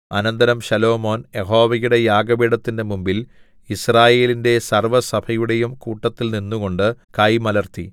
അനന്തരം ശലോമോൻ യഹോവയുടെ യാഗപീഠത്തിന്റെ മുമ്പിൽ യിസ്രായേലിന്റെ സർവ്വസഭയുടെയും കൂട്ടത്തിൽ നിന്നുകൊണ്ട് കൈ മലർത്തി